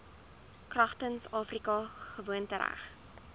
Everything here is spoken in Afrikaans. kragtens afrika gewoontereg